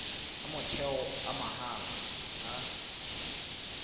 a motheo a mahala a